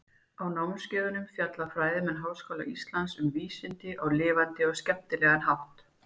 Á námskeiðunum fjalla fræðimenn Háskóla Íslands um vísindi á lifandi og skemmtilegan hátt.